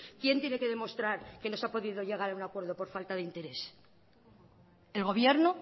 quien tiene que demostrar que no se ha podido llegar a un acuerdo por falta de interés el gobierno